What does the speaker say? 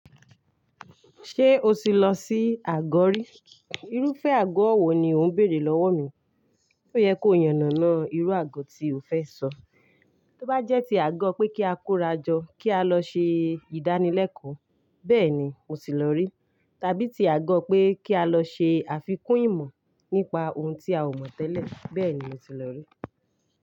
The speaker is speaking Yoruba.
"Ṣé o ti lọ sí àgọ̀ rí?" Irúfẹ́ àgọ́ wo ni ó ń bèèrè lọ́wọ́ mi. Ó yẹ kó yànnàná irú àgọ́ tí ó fẹ́ sọ. Tí ó bá jẹ́ ti àgọ́ pé kí á kórajọ kí a lọ ṣe ìdánilẹ́kọ̀ọ́, bẹ́ẹ̀ ni mo tì lọ rí. Tàbí ti àgọ́ pé kí á lọ ṣe àfikún ìmọ̀ nípa ohun tí a ò mọ̀ tẹ́lẹ̀, bẹ́ẹ̀ ni mo tì lọ rí.